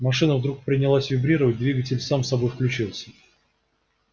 машина вдруг принялась вибрировать и двигатель сам собой включился